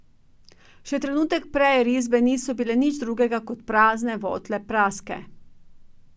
Še trenutek prej risbe niso bile nič drugega, ko prazne, votle praske.